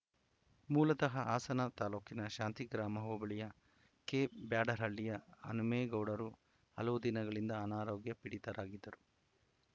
ಮೂಲತಃ ಹಾಸನ ತಾಲೂಕಿನ ಶಾಂತಿಗ್ರಾಮ ಹೋಬಳಿಯ ಕೆಬ್ಯಾಡರಹಳ್ಳಿಯ ಹನುಮೇಗೌಡರು ಹಲವು ದಿನಗಳಿಂದ ಅನಾರೋಗ್ಯ ಪೀಡಿತರಾಗಿದ್ದರು